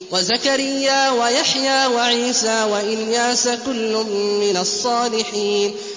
وَزَكَرِيَّا وَيَحْيَىٰ وَعِيسَىٰ وَإِلْيَاسَ ۖ كُلٌّ مِّنَ الصَّالِحِينَ